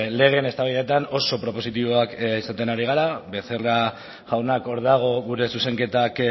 legeen eztabaidetan oso propositiboak izaten ari gara becerra jaunak hor dago gure zuzenketak